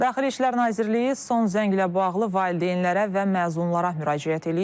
Daxili İşlər Nazirliyi son zənglə bağlı valideynlərə və məzunlara müraciət eləyib.